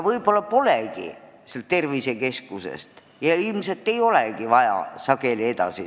Võib-olla polegi inimest tervisekeskusest vaja edasi saata, ilmselt ei olegi seda sageli vaja.